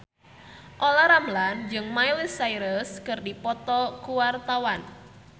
Olla Ramlan jeung Miley Cyrus keur dipoto ku wartawan